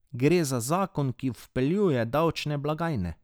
Gre za zakon, ki vpeljuje davčne blagajne.